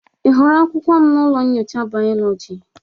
Ị hụrụ akwụkwọ m na ụlọ nyocha biology?